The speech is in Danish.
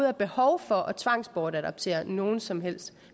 er behov for at tvangsbortadoptere nogen som helst